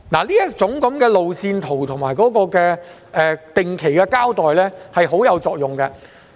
這種路線圖及定期交代是相當有作用的。